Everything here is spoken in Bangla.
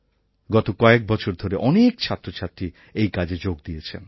গত কয়েক বছর ধরে অনেক ছাত্রছাত্রী এই কাজে যোগ দিয়েছেন